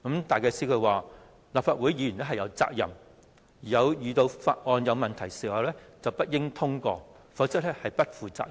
戴啟思表示，《條例草案》有問題，立法會議員有責任不應通過，否則便是不負責任。